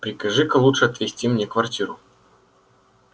прикажи-ка лучше отвести мне квартиру